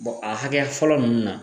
a hakɛ fɔlɔ nunnu na